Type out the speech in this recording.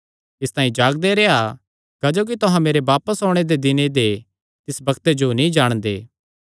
इसतांई जागदे रेह्आ क्जोकि तुहां मेरे बापस ओणे दे दिने दे तिस बग्ते जो नीं जाणदे